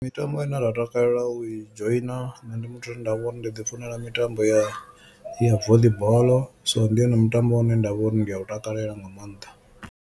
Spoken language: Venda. Mitambo ine nda takalela u i dzhoina nne ndi muthu ane nda vha uri ndi ḓi funela mitambo ya ya voli ball so ndi wone mutambo une nda vha uri ndi a u takalela nga maanḓa.